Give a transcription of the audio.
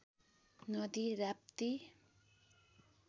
नदी राप्ती